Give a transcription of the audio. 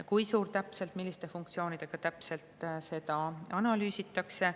Kui suur täpselt, milliste funktsioonidega täpselt, seda analüüsitakse.